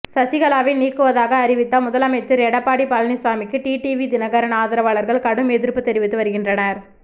சசிகலாவை நீக்குவதாக அறிவித்த முதலமைச்சர் எடப்பாடி பழனிசாமிக்கு டிடிவி தினகரன் ஆதரவாளர்கள் கடும் எதிர்ப்பு தெரிவித்து வருகின்றனர்